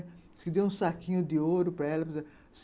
Diz que deu um saquinho de ouro para ela.